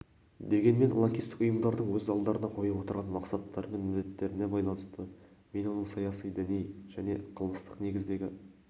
дегенмен лаңкестік ұйымдардың өз алдарына қойып отырған мақсаттары мен міндеттеріне байланысты мен оның саяси діни және қылмыстық негіздегі